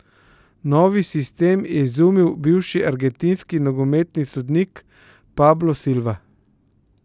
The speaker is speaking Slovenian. Novi sistem je izumil bivši argentinski nogometni sodnik Pablo Silva.